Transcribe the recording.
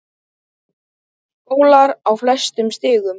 Skólar á flestum stigum.